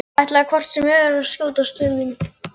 Ætlaði hvort sem er að skjótast til þín.